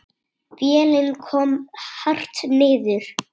Vélin kom hart niður.